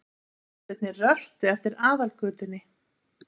Frændurnir röltu eftir Aðalgötunni.